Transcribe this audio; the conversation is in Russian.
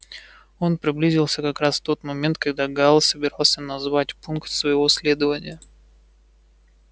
он приблизился как раз в тот момент когда гаал собирался назвать пункт своего следования